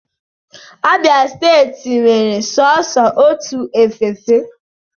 Abia steeti nwere sọọsọ otu efe efe.